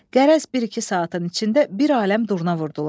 Qərəz bir-iki saatın içində bir aləm durna vurdular.